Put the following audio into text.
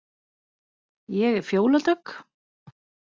Ég er Fjóla Dögg.